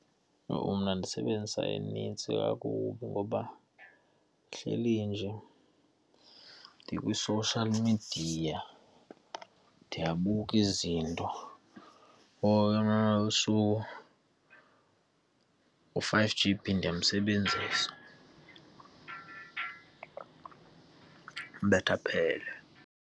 Yho! Mna ndisebenzisa enintsi kakubi ngoba ndihleli nje ndikwi-social media, ndiyabuka izinto u-five G_B ndiyamsebenzisa, ubetha aphele.